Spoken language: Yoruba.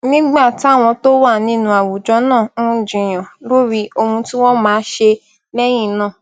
nígbà táwọn tó wà nínú àwùjọ náà ń jiyàn lórí ohun tí wón máa ṣe léyìn náà